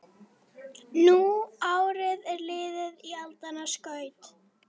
Nú árið er liðið í aldanna skaut